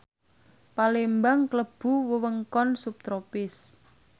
Palembang klebu wewengkon subtropis